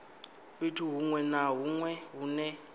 fhethu hunwe na hunwe hune